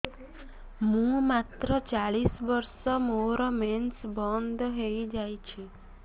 ମୁଁ ମାତ୍ର ଚାଳିଶ ବର୍ଷ ମୋର ମେନ୍ସ ବନ୍ଦ ହେଇଯାଇଛି